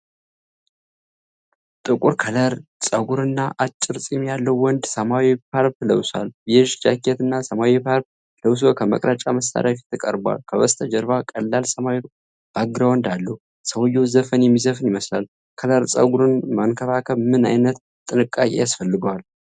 ጥቁር ክርል ፀጉር እና አጭር ጺም ያለው ወንድ ሰማያዊ ሻርፕ ለብሷል። ቤዥ ጃኬት እና ሰማያዊ ሻርፕ ለብሶ ከመቅረጫ መሳሪያ ፊት ቀርቧል። ከበስተጀርባ ቀላል ሰማያዊ ባክግራውንድ አለው። ሰውየው ዘፈን የሚዘፍን ይመስላል። ክርል ፀጉርን መንከባከብ ምን ዓይነት ጥንቃቄ ያስፈልገዋል?